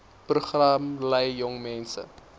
program lei jongmense